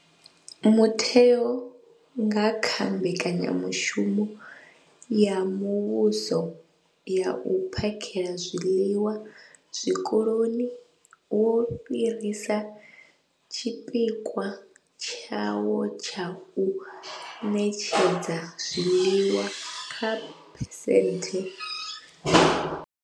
Mutheo, nga kha Mbekanya mushumo ya Muvhuso ya U phakhela zwiḽiwa Zwikoloni, wo fhirisa tshipikwa tshawo tsha u ṋetshedza zwiḽiwa kha phesenthe.